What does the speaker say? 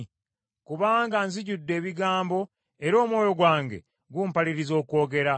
kubanga nzijjudde ebigambo, era omwoyo ogwange gumpaliriza okwogera.